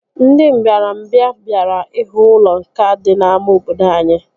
Ndị mbịarambịa bịara ihu ụlọ nkà dị n'ámá obodo anyị